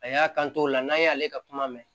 A y'a kan t'o la n'a y'ale ka kuma mɛn